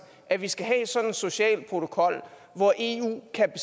at vi skal have sådan en social protokol hvor eu kan